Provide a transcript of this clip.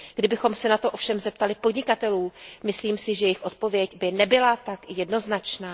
Kdybychom se na to ovšem zeptali podnikatelů, myslím si, že jejich odpověď by nebyla tak jednoznačná.